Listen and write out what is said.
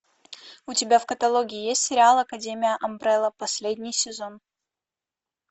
у тебя в каталоге есть сериал академия амбрелла последний сезон